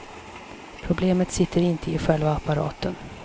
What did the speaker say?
Problemet sitter inte i själva apparaten.